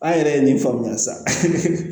An yɛrɛ ye min faamuya sisan